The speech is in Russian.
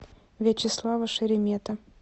вячеслава шеремета